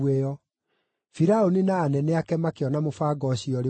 Firaũni na anene ake makĩona mũbango ũcio ũrĩ mwega.